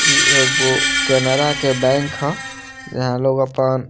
इ एगो केनरा के बैंक हअ यहाँ लोग अपन --